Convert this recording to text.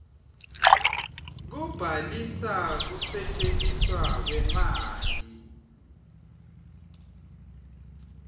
kubhalisa kusetjentiswa kwemanti